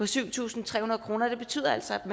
syv tusind tre hundrede kroner og det betyder altså at